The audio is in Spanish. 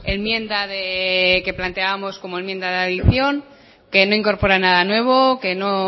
enmienda que planteábamos como enmienda de adicción que no incorpora nada nuevo que no